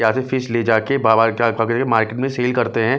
यहाँ से फिश ले जाके मार्केट में सेल करते हैं --